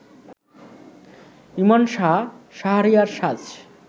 ইমন সাহা, শাহরিয়ার সাজ